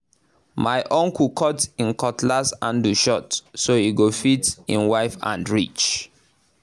my uncle cut him cutlass handle short so e go fit him wife hand reach